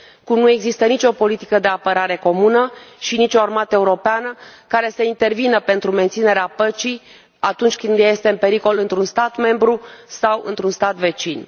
Cum nu există nici o politică de apărare comună și nici o armată europeană care să intervină pentru menținerea păcii, atunci când ea este în pericol într un stat membru sau într un stat vecin.